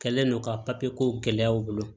Kɛlen no ka papiye kow gɛlɛya u bolo